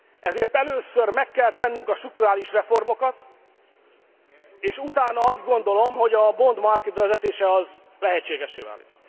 Ezért először meg kell tennünk a strukturális reformokat, és utána azt gondolom, hogy a bond market bevezetése az lehetségessé válik.